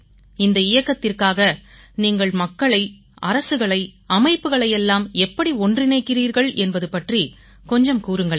இந்த இயக்கத்திற்காக நீங்கள் மக்களை அரசுகளை அமைப்புக்களையெல்லாம் எப்படி ஒன்றிணைக்கிறீர்கள் என்பது பற்றி கொஞ்சம் கூறுங்களேன்